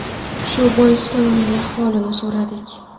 Shu boisdan uning ahvolini so‘radik.